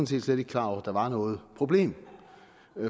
set slet ikke klar over at der var noget problem